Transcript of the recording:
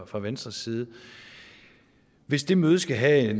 fra venstres side hvis det møde skal have